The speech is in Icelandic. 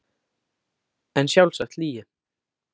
En sjálfsagt lygi.